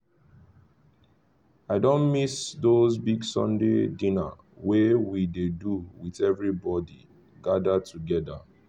i don miss those big sunday dinner wey we dey do with everybody gathered together